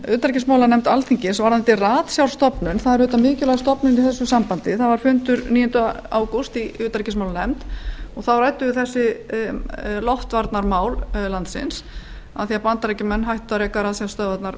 utanríkismálanefnd alþingis varðandi ratstjárstofnun sem er mikilvæg stofnun í þessu sambandi fundur var haldinn í utanríkismálanefnd níunda ágúst þar sem rædd voru loftvarnamál landsins því að bandaríkjamenn hættu að reka ratsjárstöðvarnar